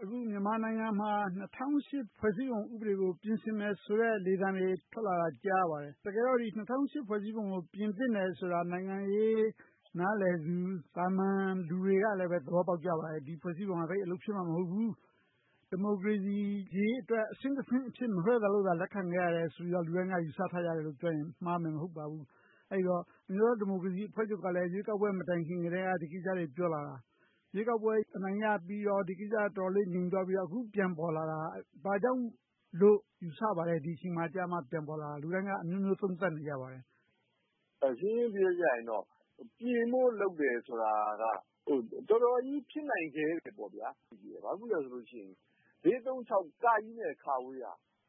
အခုမြန်မာနိုင်ငံမှာ ၂၀၀၈ ဖွဲ့စည်းပုံဥပဒေကို ပြင်ဆင်မယ်ဆိုတဲ့ လေသံတွေ ထွက်လာတာကို ကြားရပါတယ်။ တကယ်တော့ ၂၀၀၈ ဖွဲ့စည်းပုံကို ပြင်သင့်တယ်ဆိုတာကို နိုင်ငံရေး နားလည်သူ၊ သာမန်လူတွေလည်း သဘောပေါက်ကြပါတယ်။ ဒီ ဖွဲ့စည်းပုံ က သိပ်အလုပ်မဖြစ်ဘူး။ ဒီမိုကရေစီရေးအတွက် အဆင့်တဆင့်အဖြစ်သာ မလွှဲသာလို့သာ လက်ခံခဲ့ကြတယ်ဆိုပြီး လူတိုင်းက ယူဆထားကြတယ်လို့ပြောရင် မှားမယ်မဟုတ်ပါဘူး။ အဲဒီတော့ အမျိုးသားဒီမိုကရေစီအဖွဲ့ချုပ်ကလည်း ရွေးကောက်ပွဲမတိုင်ခင်ကတည်းက ဒီကိစ္စကို ပြောလာတာ၊ ရွေးကောက်ပွဲ အနိုင်ရပြီးတော့ ဒီကိစ္စက တော်တော်လေး ငြိမ်သွားပြီးတော့ အခုပြန်ပေါ်လာတာ ဘာကြောင့်လို့ ယူဆပါလဲ။ ဒီအချိန်ကြမှ ပြန်ပေါ်လာတဲ့အပေါ် လူတိုင်းက အမျိုးမျိုး သုံးသပ်နေကြပါတယ်။ ရှင်းရှင်းပြောရရင် ပြင်ဖို့လုပ်တယ်ဆိုတာက တော်တော်ကြီး ဖြစ်နိုင်ခဲတယ်။ ဘာဖြစ်လို့လဲဆိုတော့ ၄၃၆ နဲ့ က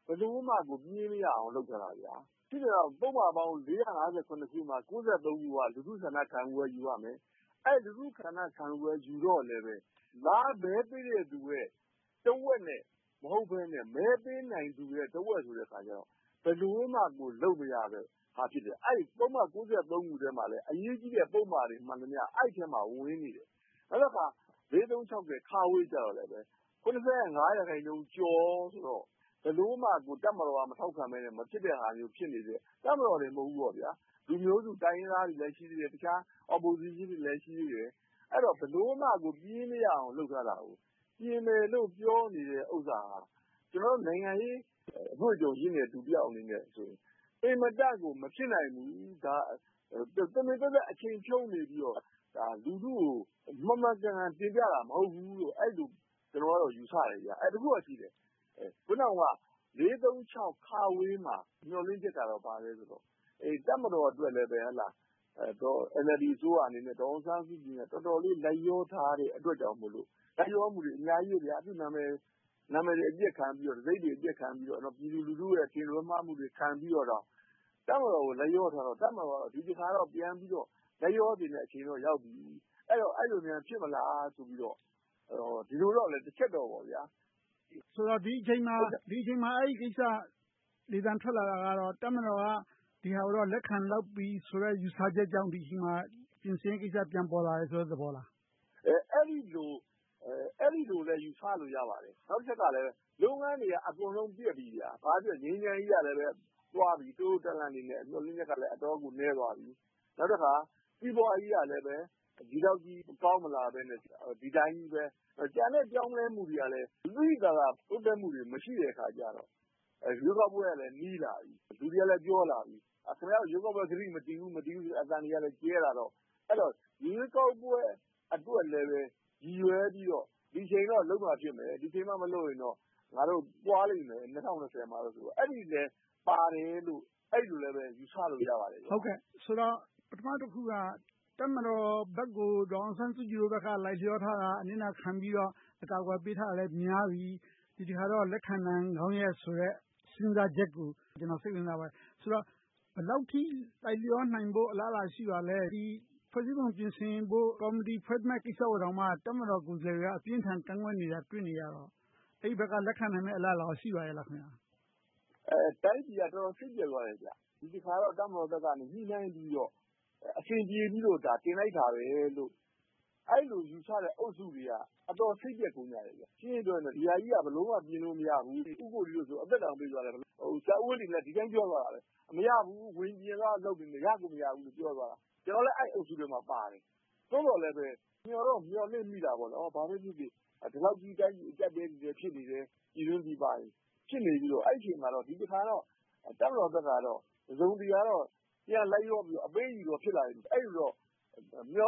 ဘယ်လိုမှ ပြင်မရအောင် လုပ်ထားတာ။ ဖြစ်ချင်တော့ ပုဒ်မပေါင်း ၄၅၇ ခု မှာ ၉၃ ခု က လူထုဆန္ဒခံယူပွဲ ယူရမယ်။ အဲဒီလူထုဆန္ဒခံယူပွဲ ယူတော့လဲ လာမဲပေးတဲ့လူတဝက်နဲ့ မဟုတ်ဘဲနဲ့ မဲပေးနိုင်သူရဲ့တဝက်ဆိုတော့ ဘယ်လိုမှ လုပ်မရတဲ့ဟာ ဖြစ်တယ်။ အဲဒီ ပုဒ်မ ၉၃ ခုထဲမှာလည်း အရေးကြီးတဲ့ ပုဒ်မတွေမှန်သမျှ အဲဒီထဲမှာ ဝင်နေတယ်။ နောက်တခါ ၄၃၆ ကြတော့လဲ ၇၅ ရာခိုင်နှုန်းကျော်ဆိုတော့ ဘယ်လိုမှ တပ်မတော်က မထောက်ခံဘဲနဲ့ မဖြစ်တဲ့ဟာမျိုး ဖြစ်နေတယ်။ တပ်မတော်တင် မဟုတ်ဘူး လူမျိုးစုတိုင်းရင်းသားတွေလည်း ရှိတယ်။ တခြား Opposition တွေလည်း ရှိသေးတယ်။ အဲဒီတော့ ဘယ်လိုမှ ပြင်မရအောင် လုပ်ထားတယ်။ ပြင်မယ်လို့ ပြောနေတဲ့ဥစ္စာဟာ ကျနော်တို့ နိုင်ငံရေးအတွေ့အကြုံရင့်တဲ့ လူတယောက်အနေနဲ့ဆိုရင် အင်မတန့်ကို မဖြစ်နိုင်ဘူး။ ဒါက တမင်သက်သက် အချိန်ဖြုန်းနေပြီးတော့ လူထုကို မှန်မှန်ကန်ကန် တင်ပြကြတာ မဟုတ်ဘူးလို့ အဲဒီလို ကျနော်က ယူဆတယ်။ တခုတော့ရှိတယ် အခုနပြောတဲ့ ၄၃၆ မှာ မျှော်လင့်ချက်က ဘာလဲဆိုတော့ တပ်မတော်အတွက်လည်း NLD အစိုးရ၊ ဒေါ်အောင်ဆန်းစုကြည်အနေနဲ့ တော်တော်လေး လိုက်လျောထားတဲ့အတွက်ကြောင့်မို့ - လိုက်လျောမှုတွေ အများကြီး - သူ့နာမည်တွေ အပျက်ခံပြီးတော့ တံဆိပ်တွေအပျက်ခံပြီတော့။ ပြည်သူလူထုရဲ့ အထင်လွဲမှားမှုတွေ ခံပြီးတော့ တပ်မတော်ကို လိုက်လျောထားတော့ တပ်မတော်အနေနဲ့ ဒီတခါတော့ လိုက်လျောသင့်တဲ့ အချိန်တော့ရောက်ပြီ - အဲဒီလိုများ ဖြစ်မလားဆိုပြီတော့ ဒီလိုတော့ တချက်ရှိတယ်။ ဒီအချိန်မှာ အဲဒီကိစ္စ လေသံထွက်လာတာတော့ တပ်မတော်က ဒီဟာကိုတော့ လက်ခံလောက်ပြီဆိုတဲ့ ယူဆချက်ကြောင့် ဒီအချိန်မှာ ပြင်ဆင်တဲ့ကိစ္စ ပြန်ပေါ်လာတဲ့ သဘောလား။ အဲဒီလိုလဲ ယူဆလို့ရပါတယ်။ နောက်တချက်ကလဲ ရုံးခန်းတွေက အကုန်လုံးပျက်ပြီ။ ငြိမ်းချမ်းရေးကလဲ တို့လို့တန်းလန်း - မျှော်လင့်ချက်ကလည်း အတော့်ကိုနည်းသွားပြီ။ နောက်တခါ စီးပွားရေးကလဲ ဒီလောက်ကြီး ကောင်းမလာဘဲနဲ့ ဒီအတိုင်းပဲ။ ကျန်တဲ့ပြောင်းလဲမှုတွေကလဲ သိသိသာသာ တိုးတက်မှုတွေ မရှိတဲ့အခါကြတော့ ရွေးကောက်ပွဲကလည်း နီးလာပြီ။ လူတွေကလည်း ပြောလာပြီ “ခင်များတို့ ရွေးကောက်ပွဲကတိ မတည်ဘူး” ဆိုတဲ့ အသံတွေကလည်း ကျယ်လာတော့ ရွေးကောက်ပွဲအတွက်လဲ ရည်ရွယ်ပြီတော့ ဒီအချိန်တော့ လုပ်မှဖြစ်မယ်။ ဒီအချိန်မှ မလုပ်ရင်တော့ ငါတို့ သွားလိမ့်မယ် ၂၀၂၀ မှတော့ - အဲဒါလဲပါတယ်လို့ အဲဒီလို ယူဆလို့ ရပါတယ်။ ဆိုတော့ ပထမတခုက တပ်မတော်ဘက်ကို ဒေါ်အောင်ဆန်းစုကြည်တို့ဘက်က လိုက်လျောထားတာ၊ အနစ်နာခံပြီတော့ အကာအကွယ်ပေးထားတာတွေလဲ များပြီ၊ ဒီတခါတော့ လက်ခံနိုင်ကောင်းရဲ့ဆိုတဲ့ စဉ်းစားချက်ကို ကျနော် စိတ်ဝင်စားပါတယ်။ ဆိုတော့ ဘယ်လောက်ထိ လိုက်လျောနိုင်ဖို့ အလားအလာ ရှိပါသလဲ။ ဒီ ဖွဲ့စည်းပုံပြင်ဆင်ဖို့ ကော်မတီ ဖွဲ့ဖို့ကိစ္စကိုတောင်မှ တပ်မတော်ကိုယ်စားလှယ်တွေက အပြင်းအထန်ကန့်ကွက်နေတာကို တွေ့နေရတော့ အဲဒီဘက်က လက်ခံနိုင်မယ့် အလားအလာ ရှိပါလား။ တိုင်းပြည်က တော်တော်စိတ်ပျက်သွားတယ်။ ဒီတခါတော့ တပ်မတော်ဘက်က ညှိနှိုင်းပြီးတော့ အဆင်ပြေပြီလို့ တင်လိုက်တာလို့ အဲဒီလိုယူဆတဲ့ အုပ်စုတွေက အတော်လေးစိတ်ပျက်ကုန်ကြတယ်။ ရှင်းရှင်းပြောရရင် ဒီဟာကြီးက ဘယ်လိုမှ ပြင်လို့မရဘူး။ ဦးကိုနီတို့ဆို အသက်တောင်ပေးသွားတယ်။ ဆရာဦးဝင်းတင်လည်း ဒီအတိုင်းပြောသွားတယ် - မရဘူး၊ ဝင်ပြင်မှရမယ်ဆိုတာ ရကိုမရဘူးလို့ ပြောသွားတာ။ ကျနော်လည်း အဲဒီအုပ်စုထဲမှာပါတယ်။ သို့သော်လဲပဲ မျှော်တော့မျှော်လင့်မိတယ်။ ဘာပဲဖြစ်ဖြစ် ဒီလောက်ကြီး တိုင်းပြည်လည်း အကျပ်အတည်းတွေနဲ့ ဖြစ်နေတယ်။ ပြည်တွင်းပြည်ပ ဖြစ်နေပြီတော့ ဒီတခါတော့ တပ်မတော်ဘက်ကတော့ တစုံတရာ ပြန်လိုက်လျောပြီး၊ အပေးအယူ ဖြစ်လာမယ်လို့ အဲ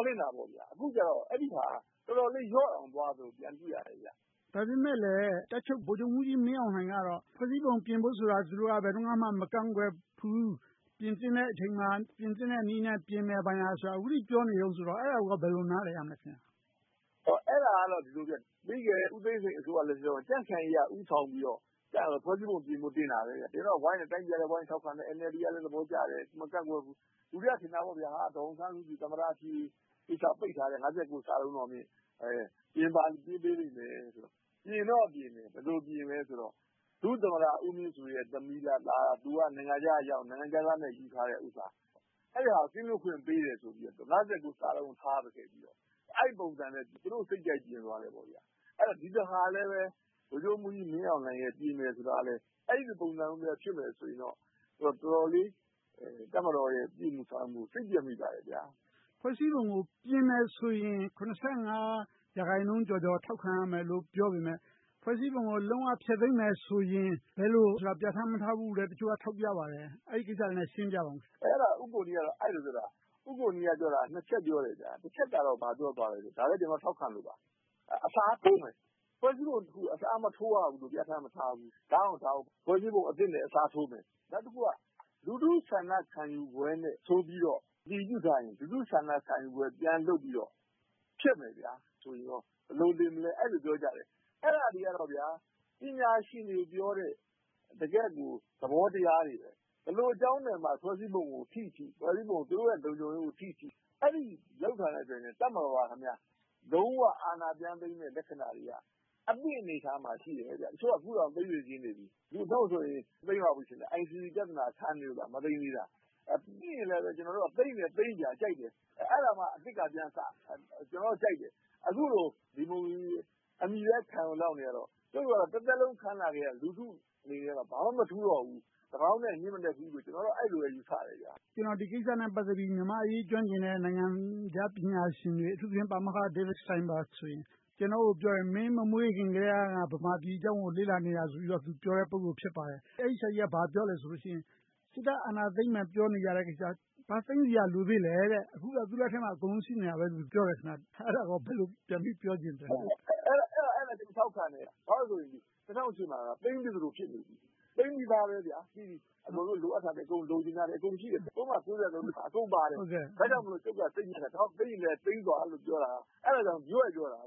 ဒီလို မျှော်လင့်ခဲ့တယ်။ အခုတော့ အဲဒီဟာ တော်တော်လေးလျော့တောင် သွားသလို ပြန်တွေ့ရတယ်။ ဒါပေမဲ့လဲ တပ်ချုပ် ဗိုလ်ချုပ်မှူးကြီးမင်းအောင်လှိုင်ကတော့ ဖွဲ့စည်းပုံပြင်ဖို့ကို သူတို့က ဘယ်တုန်းကမှ မကန့်ကွက်ဘူး။ ပြင်သင့်တဲ့အချိန်မှာ ပြင်သင့်တဲ့နည်းနဲ့ ပြင်မယ် ဘာညာဆိုတာကို အခုထိ ပြောနေတုန်းဆိုတော့ အဲဒါကို ဘယ်လိုနားလည်ရမလဲ။ အဲဒါကတော့ ပြီခဲ့တဲ့ ဦးသိန်းစိန်အစိုးရလက်ထက်မှာ ကြံ့ခိုင်ရေးက ဦးဆောင်ပြီးတော့ ဖွဲ့စည်းပုံပြင်ဖို့ တင်ခဲ့တယ်။ တင်တော့ တိုင်းပြည်ကလည်း ဝိုင်းထောက်ခံတယ်။ NLD ကလည်း သဘောကျတယ်။ မကန့်ကွက်ဘူး။ လူတွေက ထင်ခဲ့တာ ဒေါ်အောင်ဆန်းစုကြည် သမ္မတဖြစ်ရေး ပိတ်ထားတဲ့ ၅၉ ပါ ပြင်ပေးလိမ့်မယ်လို့ - ပြင်တော့ပြင်တယ် ဘယ်လိုပြင်သလဲဆိုတော့ ဒုသမ္မတဦးမြင့်ဆွေရဲ့ သမီးလား၊ သားလား မသိ၊ သူက နိုင်ငံခြားက ရောက်၊ နိုင်ငံခြားသားနဲ့ ယူထားတဲ့ဟာကို ကင်းလွှတ်ခွင့်ပေးတယ်ဆိုပြီးတော့ ၅၉ ကို ထားခဲ့ပြီးတော့ အဲဒီပုံစံနဲ့ သူတို့စိတ်ကြိုက်ပြင်သွားတယ်။ အဲဒီတော့ ဒီတခါလဲပဲ ဗိုလ်ချုပ်မှူးကြီးမင်းအောင်လှိုင် ပြင်မယ်ဆိုတာ အဲဒီပုံစံမျိုး ဖြစ်မယ်ဆိုရင်တော့ တော်တော်လေး တပ်မတော်ရဲ့ ပြုမှုဆောင်ရွက်မှုကို စိတ်ပျက်မိပါတယ်။ ဖွဲ့စည်းပုံကို ပြင်မယ်ဆိုရင် ၂၅ ရာခိုင်နှုန်းကျော်ကျော် ထောက်ခံရမယ်လို့ ပြောပေမယ့် ဖွဲ့စည်းပုံကို လုံးဝဖျက်သိမ်းမယ်ဆိုရင် ဘယ်လိုဆိုတာ ပြဌာန်းမထားဘူးလို့ တချို့က ထောက်ပြကြပါတယ်။ အဲဒီကိစ္စကို ရှင်းပြပါအုံး။ အဲဒီကိစ္စကို ဦးကိုနီက အဲဒီလို ပြောခဲ့တာ။ ဦးကိုနီ က နှစ်ချက်ပြောတယ် - တချက်က ဘာပြောသွားလဲဆိုတော့ - ဒါကို ကျနော်ထောက်ခံလို့ပါ။ အစားထိုးမယ်။ ဖွဲ့စည်းပုံတခုကို အစားမထိုးရဘူးလို့ ပြဌာန်းမထားဘူး။ ဒါကြောင့် ဖွဲ့စည်းပုံအသစ်နဲ့ အစားထိုးမယ်။ နောက်တခုက လူထုဆန္ဒခံယူပွဲနဲ့ ဆိုပြီတော့ အတည်ပြုထားရင် လူထုဆန္ဒခံယူပွဲ ပြန်လုပ်ပြီးတော့ ဖျက်မယ်ဆိုရင်ကော ဘယ်လိုတင်မလဲဆိုပြီး အဲဒီလိုပြောထားတယ်။ အဲဒါတွေကတော့ ပညာရှင်တွေပြောတဲ့ တကယ့်ကို သဘောတရားတွေ။ ဘယ်လိုအကြောင်းနဲ့မှ ဖွဲ့စည်းပုံကိုထိထိ ဖွဲ့စည်းပုံက သူတို့လုံခြုံရေးကိုထိထိ အဲဒီလိုလုပ်လာတာနဲ့ တပ်မတော်က လုံးဝအာဏာပြန်သိမ်းမယ့် လက္ခဏာတွေက အသင့်အနေအထားမှာရှိတယ်။ တချို့က အခုတောင်သိမ်းစေချင်နေပြီ။ သိမ်းလောက်ပြီ - ICC ပြဿနာ ခံနေလို့သာ မသိမ်းသေးတာ။ ကျနော်တို့က သိမ်းလည်းသိမ်းဗျာ ကြိုက်တယ် - အဲဒါမှ အသစ်ကပြန်စမယ်။ ကျနော်က ကြိုက်တယ် - အခုလို ဒီမိုကရေစီ အမည်ပဲခံပြီးတော့ နေရတော့ ကျနော်တို့က တသက်လုံး ခံလာခဲ့ရတဲ့ လူထုအနေနဲ့ ဘာမှမထူးတော့ဘူး။ သန်းကောင်ထက် ညဉ့်မနက်ဘူးလို့ အဲဒီလိုပဲ ယူဆတယ်။ ဒီကိစ္စနဲ့ ပတ်သက်ပြီး မြန်မာ့အရေးကျွမ်းကျင်တဲ့ နိုင်ငံခြားပညာရှင်တွေ အထူးသဖြင့် ပါမောက္ခ David Steinberg ဆိုရင် ကျနော့်ကိုပြောတယ် - မင်းမမွေးခင်ကတည်းက ငါ့ဗမာပြည်အကြောင်းကို လေ့လာနေတာဆိုပြီပြောတဲ့ ပုဂ္ဂိုလ်ဖြစ်ပါတယ်။ အဲဒီဆရာကြီးက ဘာပြောလဲဆိုရင် စစ်တပ်အာဏာသိမ်းမယ်ဆိုတဲ့ ပြောနေတဲ့ကိစ္စ ဘာသိမ်းစရာ လိုသေးလဲ။ အခုလည်း သူ့လက်ထဲမှာ အကုန်ရှိနေတယ်လို့ ပြောတယ်။ အဲဒါကို ဘယ်လိုပြန်ပြောချင်ပါလဲ။ အဲဒါကို ကျနော်ထောက်ခံတယ်။ ဘာဖြစ်လို့လဲဆိုတော့ ၂၀၀၈ မှာ သိမ်းထားသလို ဖြစ်နေပြီ။ သိမ်းပြီသား - လိုအပ်သလို လိုချင်တာတွေ အကုန်ရှိတယ်။ ပုဒ်မ ၉၃ ထဲမှာ အကုန်ပါတယ်။ ဒါကြောင့် ကျုပ်က စိတ်ညစ်တာ ဒါကြောင့် သိမ်းချင်လဲ သိမ်းသွားလို့ပြောတာ။ အဲဒါကြောင့် ရွဲ့ပြောတာ။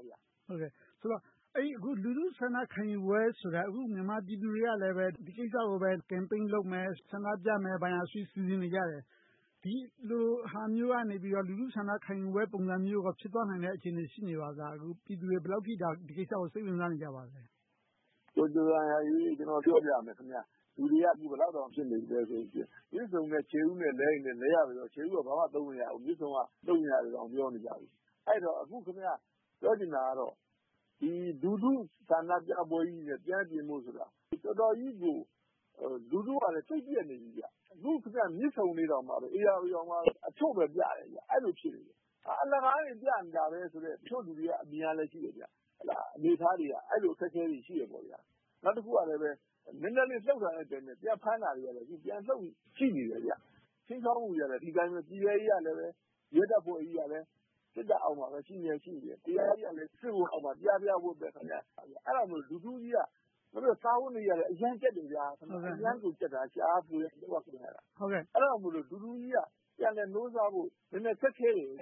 လူထုဆန္ဒခံယူပွဲဆိုတာ အခု မြန်မာပြည်သူတွေကလည်း ဒီကိစ္စကို Campaign လုပ်မယ်။ ဆန္ဒပြမယ်ဆိုပြီး စီစဉ်နေကြတယ်။ ဒီလိုဟာမျိုးကနေ လူထုဆန္ဒခံယူပွဲ ဖြစ်သွားနိုင်တဲ့ အခြေအနေ ရှိနေပါသလား။ ပြည်သူတွေ ဒီကိစ္စကို ဘယ်လောက်အထိ စိတ်ဝင်စားနေကြပါလဲ။ ကျနော်ပြောပြမယ် - လူတွေက အခု ဘယ်လောက်တောင် ဖြစ်နေပြီလဲဆိုရင် မြစ်ဆုံနဲ့ ခြေဥနဲ့ လဲရင်လည်း လဲရပါစေတော့ ခြေဥက ဘာမှသုံးမရဘူး၊ မြစ်ဆုံက သုံးရတယ်လို့ ပြောနေကြပြီ။ အဲဒီတော့ ပြောချင်တာကတော့ လူထုဆန္ဒပြပွဲကြီးနဲ့ ပြန်ပြင်ဖို့ဆိုတာ တော်တော်ကြီးကို လူထုကလည်း စိတ်ပျက်နေပြီ။ အခုမြစ်ဆုံလေးတောင် ဧရာဝတီတောင်မှ အချို့ပဲပြတယ်။ အဲဒီလိုဖြစ်နေတယ်။ အလကားနေ ပြနေတာပဲဆိုတဲ့ တချို့လူတွေရဲ့အမြင်ကရှိတယ်။ အနေအထားတွေက အဲဒီလို အခက်အခဲတွေရှိတယ်။ နောက်တခုက နည်းနည်းလေး လှုပ်တာနဲ့ ပြန်ဖမ်းတာတွေရှိတယ်။ ခြိမ်းခြောက်မှုတွေကလည်း ဒီအတိုင်းပဲ ပြည်ထဲရေး၊ ရဲတပ်ဖွဲ့တွေကလည်း စစ်တပ်အောက်မှာပဲ ရှိနေမြဲ၊ တရားရေးကလည်း စစ်ဗိုလ်အောက်မှာ ပြားပြားဝပ်ပဲ။ ပြီးတော့ လူထုအတွက် စားဝတ်နေရေးကလည်း အရမ်းကျပ်တယ်။ ရှာရဖွေရ လုပ်ရကိုင်ရတာ။ အဲဒါကြောင့် လူထုကြီးက ပြန်လည်နိုးထဖို့ တော်တော်ခက်ခဲတယ်။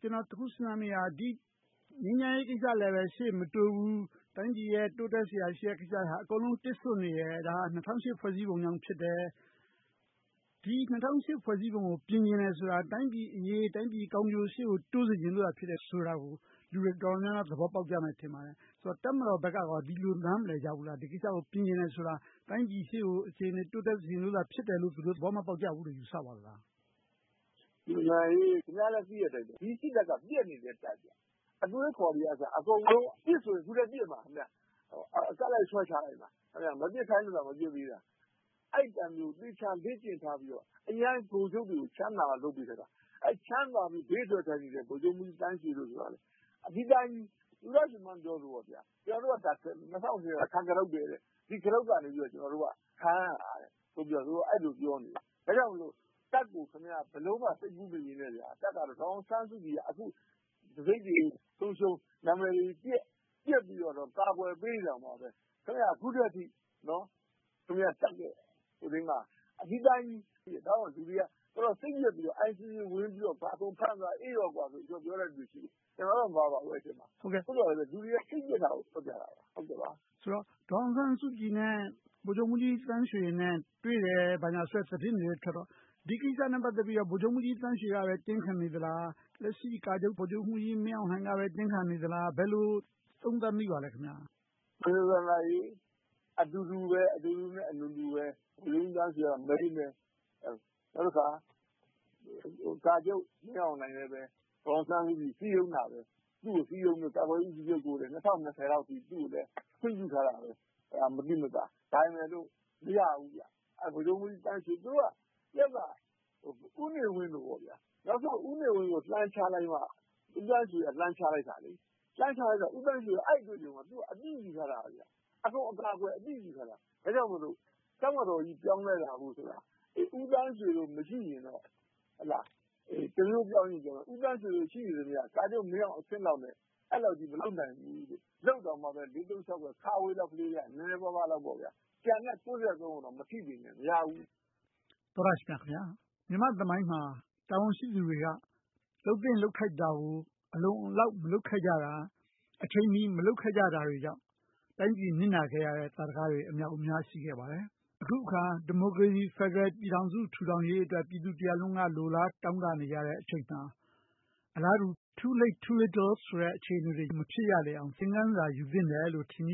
ကျနော် တခုစဉ်းစားမိတာက ငြိမ်းချမ်းရေးကိစ္စလည်း ရှေ့မတိုးဘူး။ တိုင်းပြည်ရဲ့ တိုးတက်စရာရှိတဲ့ ကိစ္စတွေက အကုန်လုံး တစ်စို့နေတယ်။ ဒါက ၂၀၀၈ ဖွဲ့စည်းပုံကြောင့်ဖြစ်တယ်။ ဒီ ၂၀၀၈ ဖွဲ့စည်းပုံကို ပြင်ချင်တယ်ဆိုတာ တိုင်းပြည်အရေး၊ တိုင်းပြည်ကောင်းကျိုး ရှေ့ကိုတိုးစေချင်လို့ဆိုတာကို လူတွေတော်တော်များများ သဘောပေါက်ကြမယ် ထင်ပါတယ်။ ဒါကို တပ်မတော်ဘက်က ဒီလိုနားမလည်ကြဘူးလား။ ဒီကိစ္စကို ပြင်ချင်တယ်ဆိုတာ တိုင်းပြည်ရှေ့ကို အခြေအနေတိုးတက်စေချင်လို့ဆိုတာကို သူတို့ သဘောမပေါက်ကြဘူးလို့ ယူဆပါသလား။ ခင်များလဲ သိတဲ့အတိုင်း ဒီစစ်တပ်က ပျက်စီးနေတဲ့တပ်။ အတွေးအခေါ်တွေကအစ အခုလဲ ပစ်ဆိုရင် ပစ်မှာ။ အကတ်လိုက် ဆွဲချလိုက်မှာ။ မပစ်ခိုင်းလို့သာ မပစ်သေးတာ။ အဲဒီလိုတပ်မျိုး။ သေချာလေ့ကျင့်ထားပြီးတော့ ဗိုလ်ချုပ်တွေကို အရမ်းချမ်းသာအောင် လုပ်ပေးထားတာ။ အဲဒီချမ်းသာပြီး ဘေးထွက်ထိုင်နေတဲ့ ဗိုလ်ချုပ်မှူးကြီးသန်းရွှေတို့ဆိုရင် ဒီအတိုင်းကြီး - သူရရွှေမန်းပြောသလို ၂၀၀၈ က ခံကတုတ်ပဲ။ ဒီကတုတ်ကနေ ခံနေကြတာလို့ အဲဒီလိုပြောခဲ့တာ။ ဒါကြောင့် တပ်ကို ဘယ်လိုမှ စိတ်ကူးမယဉ်နဲ့ ဒေါ်အောင်ဆန်းစုကြည်က အခု တံဆိပ်တွေဆုံးရှုံး၊ နာမည်တွေပျက်။ ပျက်ပြီးတော့ အကာအကွယ်ပေးနေတာတောင် အခုထက်ထိ တပ်ရဲ့ အနေအထားက ဒီအတိုင်းကြီး။ လူတွေက တော်တော်စိတ်ပျက်ပြီးတော့ ICC ဝင်လာပြီး အကုန်ဖမ်းသွားအေးတယ်လို့ ပြောတဲ့လူတွေရှိတယ်။ ကျနော်တော့ အဲဒီအထဲမှာ မပါပါဘူး။ သို့သော် လူတွေက စိတ်ပျက်တာကိုပြောတာ။ ဒေါ်အောင်ဆန်းစုကြည်နဲ့ ဗိုလ်ချုပ်မှူးကြီးသန်းရွှေနဲ့ တွေ့တယ်ဆိုတဲ့ သတင်းတွေထွက်တော့ ဒီကိစ္စနဲ့ ပတ်သက်ပြီး ဗိုလ်ချုပ်မှူးကြီးသန်းရွှေက တင်းခံနေလား။ လက်ရှိကာချုပ် ဗိုလ်ချုပ်မှူးကြီးမင်းအောင်လှိုင်က တင်းခံနေလား။ ဘယ်လိုသုံးသပ်မိပါလဲ။ အတူတူနဲ့ အနူနူပဲ ဗိုလ်ချုပ်မှူးကြီးသန်းရွှေက Main ပဲ။ နောက်တခါ ကာချုပ်မင်းအောင်လှိုင်လည်း ဒေါ်အောင်ဆန်းစုကြည် စည်းရုံးတာပဲ။ သူကိုစည်းရုံးပြီးတော့ ကာကွယ်ရေးဦးစီးချုပ်ကို ၂၀၂၀ အထိ ခွင့်ပြုထားတာပဲ။ ဒါပေမဲ့လို့ မရဘူး။ ဗိုလ်ချုပ်မှူးကြီးသန်းရွှေက ဦးနေဝင်းလိုပဲ နောက်ဆုံး ဦးနေဝင်းကို လှန်ချလိုက်မှ - ဦးသန်းရွှေက ချလိုက်တာ။ အဲဒီတုန်းက အကုန်အကာအကွယ် အသင့်ယူထားတာ။ ဒါကြောင့်မို့ တပ်မတော်ကြီး ပြောင်းလဲလာဖို့ဆိုတာ ဦးသန်းရွှေတို့ မရှိရင်တော့ တမျိုးပြောင်းရင်ပြောင်းမယ်။ ဦးသန်းရွှေတို့ ရှိနေသမျှ ကာချုပ်မင်းအောင်လှိုင်အဆင့်လောက်နဲ့ အဲဒီလောက်ကြီး မလုပ်နိုင်ဘူး။ လုပ်တောင်မှ ၄၃၆ လောက်ရ နည်းနည်းပါးပါးလောက်။ ကျန်တဲ့ ၉၃ ကို မထိစေနဲ့ မရဘူး။ သောတရှင်များခင်များ… မြန်မာ့သမိုင်းမှာ တာဝန်ရှိသူတွေက လုပ်သင့်လုပ်ထိုက်တာကို အလုံအလောက်မလုပ်ခဲ့ကြတာ၊ အချိန်မီ မလုပ်ခဲ့ကြတာတွေကြောင့် တိုင်းပြည်နစ်နာခဲ့ရတဲ့ သာဓကတွေ အမြောက်အမြား ရှိခဲ့ပါတယ်။ အခုအခါ ဒီမိုကရေစီဖယ်ဒရယ် ပြည်ထောင်စု ထူထောင်ရေးအတွက် ပြည်သူလူထုတရပ်လုံးက လိုလားတောင့်တနေတဲ့အချိန်မှာ အလားတူ Too late, too little ဆိုတဲ့ အခြေအနေတွေ မဖြစ်ရလေအောင် သင်ခန်းစာ ယူသင့်တယ်လို့ ထင်မြင